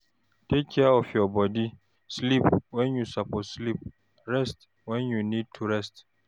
Take care of your bodi, sleep when you suppose sleep and rest when you need to rest